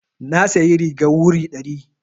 Na sayi rigar wuri ɗari.